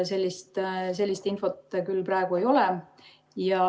Sellist infot küll praegu ei ole.